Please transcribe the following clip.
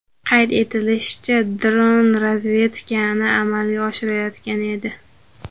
Qayd etilishicha, dron razvedkani amalga oshirayotgan edi.